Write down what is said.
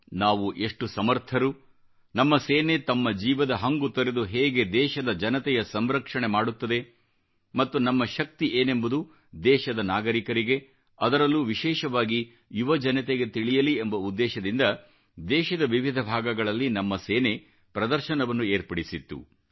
ನಾವು ಎಷ್ಟು ಸಮರ್ಥರು ನಮ್ಮ ಸೇನೆ ತಮ್ಮ ಜೀವದ ಹಂಗು ತೊರೆದು ಹೇಗೆ ದೇಶದ ಜನತೆಯ ಸಂರಕ್ಷಣೆ ಮಾಡುತ್ತದೆ ಮತ್ತು ನಮ್ಮ ಶಕ್ತಿ ಏನೆಂಬುದು ದೇಶದ ನಾಗರಿಕರಿಗೆ ಅದರಲ್ಲೂ ವಿಶೇಷವಾಗಿ ಯುವಜನತೆಗೆ ತಿಳಿಯಲಿ ಎಂಬ ಉದ್ದೇಶದಿಂದ ದೇಶದ ವಿವಿಧ ಭಾಗಗಳಲ್ಲಿ ನಮ್ಮ ಸೇನೆ ಪ್ರದರ್ಶನವನ್ನು ಏರ್ಪಡಿಸಿತ್ತು